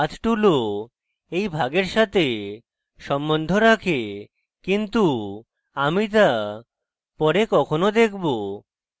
path tool এই ভাগের সাথে সম্বন্ধ রাখে কিন্তু আমি the পরে কখনো দেখব